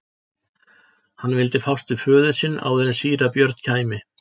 Hann vildi fást við föður sinn áður en síra Björn kæmi.